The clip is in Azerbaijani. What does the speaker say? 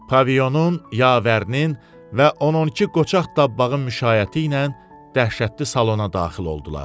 Pavionun, yavərinin və 10-12 qoçaq tabbağın müşayiəti ilə dəhşətli salona daxil oldular.